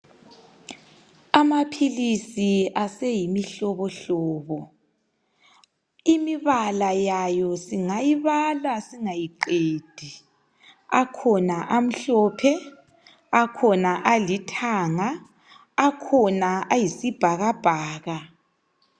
Amaphilisi aseyimihlobohlobo. Imibala yayo singayibala singayiqedi. Akhona amhlophe, akhona alithanga, khona ayisibhakabhaka.